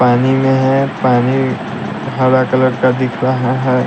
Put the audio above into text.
पानी में है पानी हरा कलर का दिख रहा है।